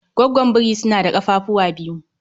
Goggon biri suna da kafafuwa biyu